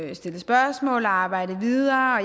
vi stillet spørgsmål og arbejdet videre